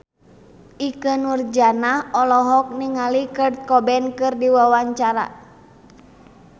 Ikke Nurjanah olohok ningali Kurt Cobain keur diwawancara